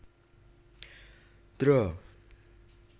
Dra